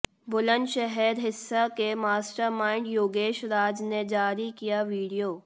बुलंदशहर हिंसा के मास्टरमाइंड योगेश राज ने जारी किया वीडियो